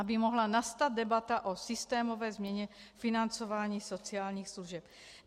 Aby mohla nastat debata o systémové změně financování sociálních služeb.